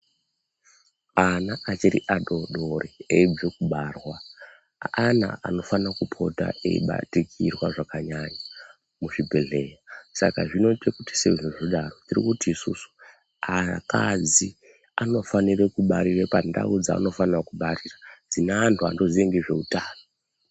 Ana achiri adodori eyibve kubarwa ana anofana kupota eyi batikirwa zvakanyanya mu zvibhedhleya saka zvinoita kuti sezvo zvidaro tirikuti isusu akadzi anofanire kubarire pa ndau dzanofana kubarira dzine antu anoziya ngezve utano.